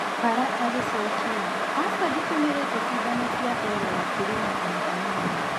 Bara agĩcokĩa: "Aca nditũmĩrĩte cindano cia L - carnitine ona hanini."